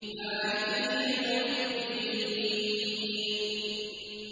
مَالِكِ يَوْمِ الدِّينِ